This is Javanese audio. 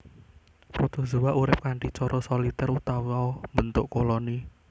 Protozoa urip kanthi cara solitèr utawa mbentuk koloni